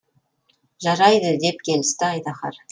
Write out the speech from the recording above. жарайды деп келісті айдаһар